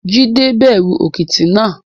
Jídẹ bẹ̀rù òkìtì náà